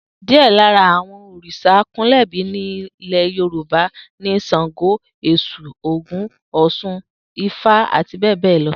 Díè̩ lára àwo̩n òrìs̩à àkúnlè̩bo̩ ní ilè̩ Yorùbá ni S̩àngó, Ès̩ù, Ògún, Ò̩s̩un, Ifá, àti bé̩è̩ bé̩è̩ lo̩